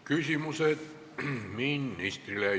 Küsimused ministrile.